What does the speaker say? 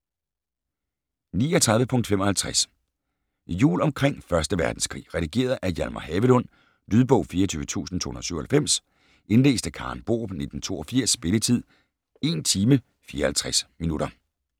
39.55 Jul omkring 1. verdenskrig Redigeret af Hjalmar Havelund Lydbog 24297 Indlæst af Karen Borup, 1982. Spilletid: 1 timer, 54 minutter.